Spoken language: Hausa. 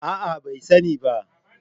A'a bai sani ba